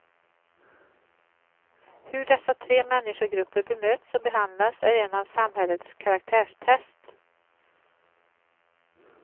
Hur dessa tre mänskogrupper bemöts och behandlas är en samhällets karaktärstest.